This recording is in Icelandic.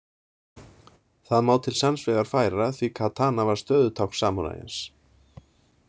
Það má til sanns vegar færa því katana var stöðutákn samúræjans.